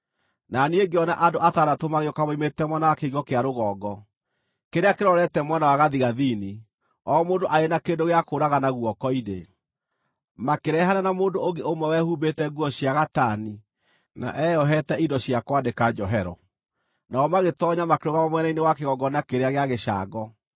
Na niĩ ngĩona andũ atandatũ magĩũka moimĩte mwena wa kĩhingo kĩa rũgongo, kĩrĩa kĩrorete mwena wa gathigathini, o mũndũ arĩ na kĩndũ gĩa kũũragana guoko-inĩ. Makĩrehane na mũndũ ũngĩ ũmwe wehumbĩte nguo cia gatani na eyohete indo cia kwandĩka njohero. Nao magĩtoonya makĩrũgama mwena-inĩ wa kĩgongona kĩrĩa gĩa gĩcango.